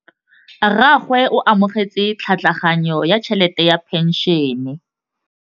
Rragwe o amogetse tlhatlhaganyô ya tšhelête ya phenšene.